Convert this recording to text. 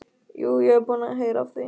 Jú, ég var búinn að heyra af því.